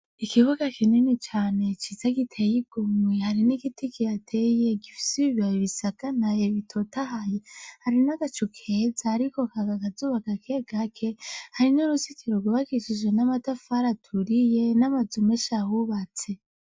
Ikibuga kinini cane ciza giteye igomwe, hari n'igiti kihateye, gifise ibibabi bisagaraye bitotahaye; hari n'agacu keza, ariko haka akazuba gake gake, hari n'uruzitiro rwubakishije n'amatafari aturiye, n'amazu menshi ahubatse.